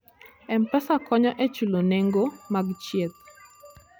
M-Pesa konyo e chulo nengo mag thieth.